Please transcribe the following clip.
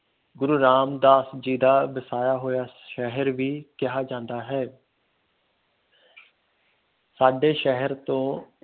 ਗੁਰੂ ਰਾਮਦਾਸ ਜੀ ਦਾ ਵਸਾਇਆ ਹੋਇਆ ਸ਼ਹਿਰ ਵੀ ਕਿਹਾ ਜਾਂਦਾ ਹੈ ਸਾਡੇ ਸ਼ਹਿਰ ਤੋਂ